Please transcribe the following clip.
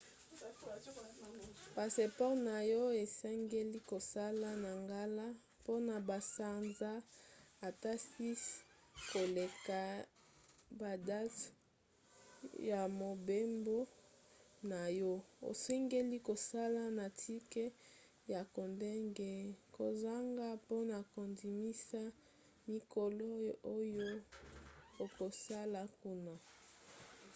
passeport na yo esengeli kozala na ngala mpona basanza ata 6 koleka badate ya mobembo na yo. osengeli kozala na tike ya kokende/kozonga mpona kondimisa mikolo oyo okosala kuna